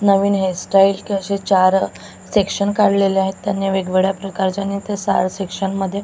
नवीन hair style कसे चार section काढलेले आहेत त्यांनी वेगवेगळ्या प्रकारच्या आणि त्या साऱ्या सेक्शनमध्ये --